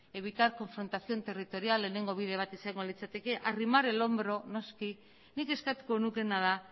evitar confrontación territorial lehenengo adibide bat izango litzateke arrimar el hombro noski nik eskatuko nukeena da